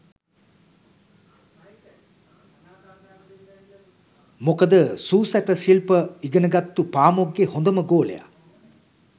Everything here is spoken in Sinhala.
මොකද සූ සැට සිල්ප ඉගෙනගත්තු පාමොක්ගෙ හොඳම ගෝලය